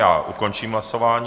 Já ukončím hlasování.